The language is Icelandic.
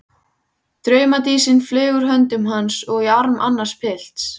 Draumadísin flaug úr höndum hans og í arm annars pilts.